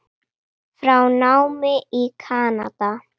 frá námi í Kanada.